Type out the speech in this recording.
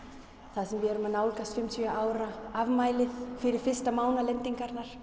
þar sem við erum að nálgast fimmtíu ára afmæli fyrstu